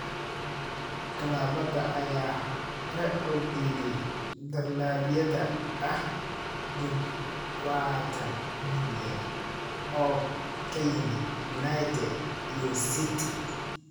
Klabada ayaa hore u diiday dalabyada ah dadawaatan milyan oo ka yimid United iyo City.